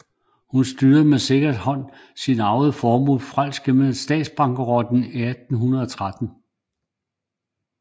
Hun styrede med sikker hånd sin arvede formue frelst gennem statsbankerotten i 1813